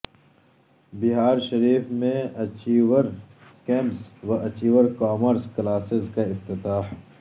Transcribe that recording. بہار شریف میں achiever campus و achiever commerce کلاسزکا افتتاح